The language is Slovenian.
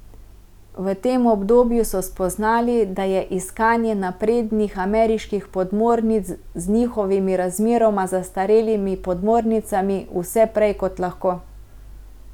V tem obdobju so spoznali, da je iskanje naprednih ameriških podmornic z njihovimi razmeroma zastarelimi podmornicami vse prej kot lahko.